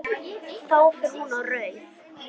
Þá fer hún á rauðu.